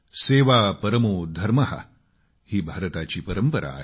सेवा परमो धर्म ही भारताची परंपरा आहे